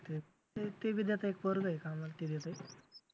ते बी त्याचं एक पोरगं आहे कामाला ते देतंय.